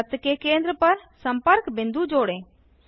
वृत्त के केंद्र पर संपर्क बिंदु जोड़ें